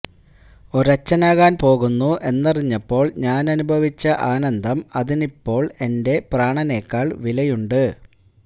ഒരച്ഛനാകാൻ പോകുന്നു എന്നറിഞ്ഞപ്പോൾ ഞാനനുഭവിച്ച ആനന്ദം അതിനിപ്പോൾ എന്റെ പ്രാണനേക്കാൾ വിലയുണ്ട്